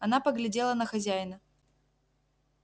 она поглядела на хозяина